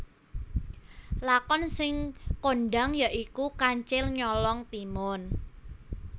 Lakon sing kondhang ya iku Kancil Nyolong Timun